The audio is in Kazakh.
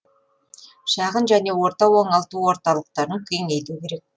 шағын және орта оңалту орталықтарын кеңейту керек